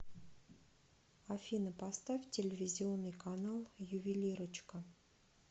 афина поставь телевизионный канал ювелирочка